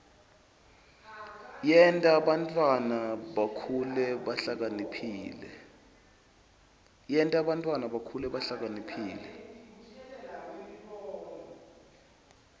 yenta bantfwana bakhule bahlakaniphile